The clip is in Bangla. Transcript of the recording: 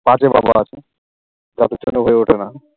কাজের অভাব হয়ে ওঠে না।